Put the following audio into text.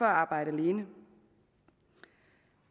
arbejde alene